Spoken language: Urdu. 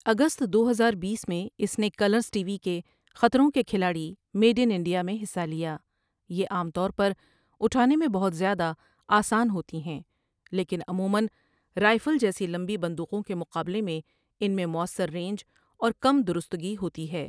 اگست دو ہزار بیس میں اِس نے کلرس ٹی وی کے خطروں کے کھلاڑی میڈ ان انڈیا میں حصّہ لیا یہ عام طور پر اٹھانے میں بہت زیادہ آسان ہوتی ہیں، لیکن عموماََ رائفل جیسی لمبی بندوقوں کے مقابلے میں ان میں مؤثر رینج اور کم درستگی ہوتی ہے۔